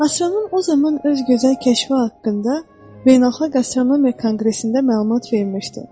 Astronom o zaman öz gözəl kəşfi haqqında beynəlxalq astronomiya konqresində məlumat vermişdi.